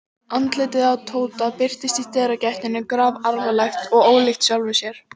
Andlitið á Tóta birtist í dyragættinni grafalvarlegt og ólíkt sjálfu sér.